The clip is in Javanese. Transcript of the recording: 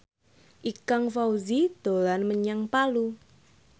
Ikang Fawzi dolan menyang Palu